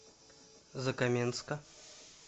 закаменска